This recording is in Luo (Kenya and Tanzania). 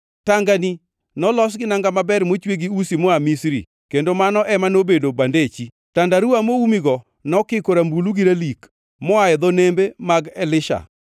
Tangani nolos gi nanga maber mochwe gi usi moa Misri kendo mano ema nobedo bandechi; tandaruwa moumigo nokiko rambulu gi ralik, moa e dho nembe mag Elisha.